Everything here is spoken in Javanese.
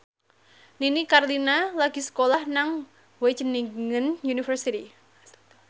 Nini Carlina lagi sekolah nang Wageningen University